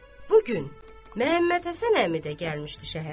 Bu gün Məmmədhəsən əmi də gəlmişdi şəhərə.